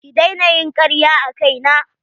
Ki daina ƴin karya a kai na.